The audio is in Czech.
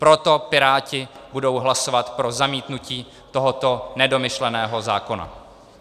Proto Piráti budou hlasovat pro zamítnutí tohoto nedomyšleného zákona.